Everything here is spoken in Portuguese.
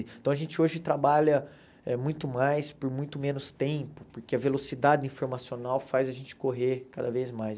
Então, a gente hoje trabalha muito mais por muito menos tempo, porque a velocidade informacional faz a gente correr cada vez mais.